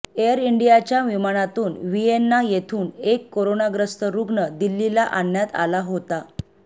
air इंडियाच्या विमानातून Vienna येथून एक कोरोनाग्रस्त रुग्ण दिल्लीला आणण्यात आला होता